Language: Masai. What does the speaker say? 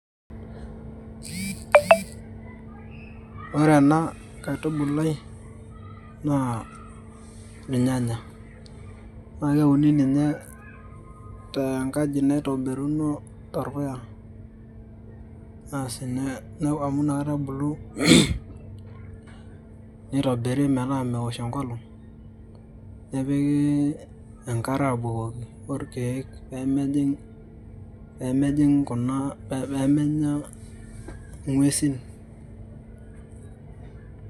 Ore ena kaitubulai naa irnyanya naake euni ninye tenkaji naitobiruno torpuya, asi ore inakata ebulu nitobiri metaa meosh enkolong'. Nepiki enkare abukoki orkeek pee mejing' kuna pee menya inguesi.